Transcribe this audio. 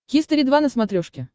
хистори два на смотрешке